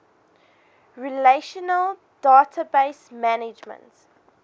relational database management